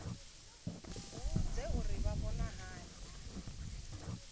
vhudze uri vha vhona hani